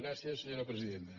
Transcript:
gràcies senyora presidenta